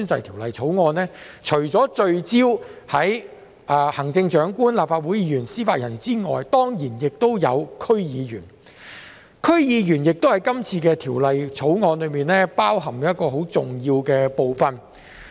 《條例草案》除聚焦於行政長官、立法會議員及司法人員外，亦涵蓋區議員，區議員是《條例草案》適用的重要人員。